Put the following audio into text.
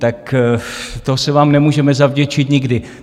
Tak to se vám nemůžeme zavděčit nikdy.